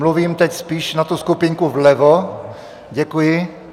Mluvím teď spíš na tu skupinku vlevo, děkuji.